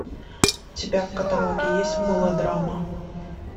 у тебя в каталоге есть мелодрама